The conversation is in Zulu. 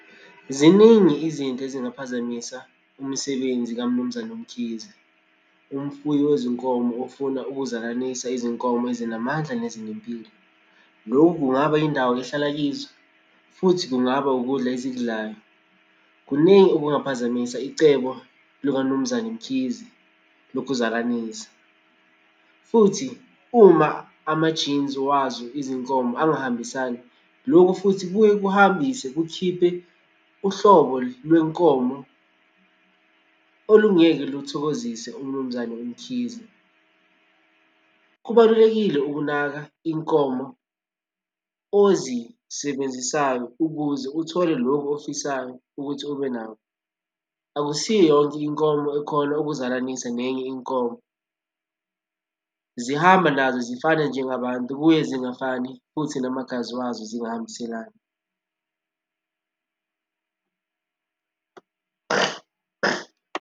Ziningi izinto ezingaphazamisa umsebenzi kaMnumzane uMkhize, umfuyi wezinkomo ofuna ukuzalanisa izinkomo ezinamandla nezinempilo. Loku kungaba indawo ehlala kizo, futhi kungaba ukudla ezikudlayo. Kuningi okungaphazamisa icebo lukaMnumzane Mkhize lokuzalanisa, futhi uma ama-genes wazo izinkomo angahambisani, loku futhi kuye kuhambise kukhiphe uhlobo lwenkomo olungeke luthokozise uMnumzane uMkhize. Kubalulekile ukunaka inkomo ozisebenzisayo ukuze uthole lokhu ofisayo ukuthi ubenakho. Akusiyo yonke inkomo ekhona ukuzalanisa nenye inkomo, zihamba nazo zifane njengabantu buye zingafani futhi namagazi wazo zingahambiselani.